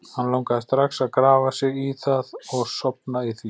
Hann langaði strax að grafa sig í það og sofna í því.